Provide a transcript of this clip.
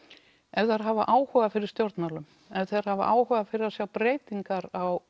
ef þær hafa áhuga fyrir stjórnmálum ef þær hafa áhuga fyrir að sjá breytingar á